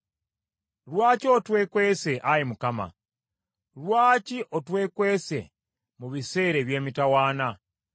Lwaki otwekwese, Ayi Mukama ? Lwaki otwekwese mu biseera eby’emitawaana?